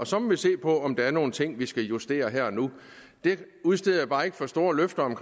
så må vi se på om der er nogle ting vi skal justere her og nu det udsteder jeg bare ikke for store løfter om